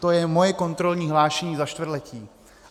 To je moje kontrolní hlášení za čtvrtletí.